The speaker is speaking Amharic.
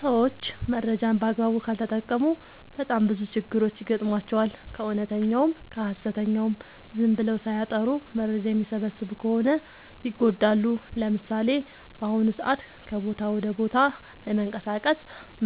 ሰዎች መረጃን በአግባቡ ካልተጠቀሙ በጣም ብዙ ችግሮች ይገጥሟቸዋል። ከእውነተኛውም ከሀሰተኛውም ዝም ብለው ሳያጠሩ መረጃ የሚሰበስቡ ከሆነ ይጎዳሉ። ለምሳሌ፦ በአሁኑ ሰዓት ከቦታ ወደ ቦታ ለመንቀሳቀስ